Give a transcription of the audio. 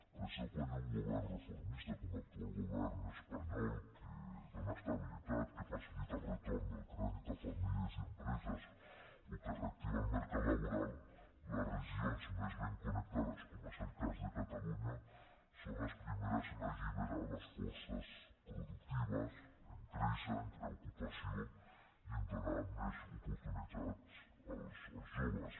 per això quan hi ha un govern reformista com l’actual govern espanyol que dona estabilitat que facilita el retorn del crèdit a famílies i a empreses o que reactiva el mercat laboral les regions més ben connectades com és el cas de catalunya són les primeres en alliberar les forces productives en créixer en crear ocupació i en donar més oportunitats als joves